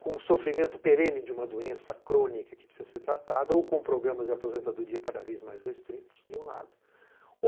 com o sofrimento perene de uma doença crônica que precisa ser tratada ou com programas de aposentadoria cada vez mais restritos, de um lado.